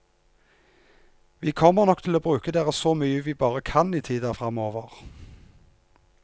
Vi kommer nok til å bruke dere så mye vi bare kan i tida framover.